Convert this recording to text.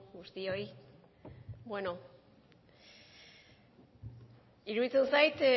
guztioi bueno iruditzen zait